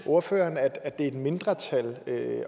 ordføreren at det er et mindretal